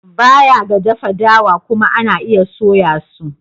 Baya ga dafa dawa kuma ana iya soya su.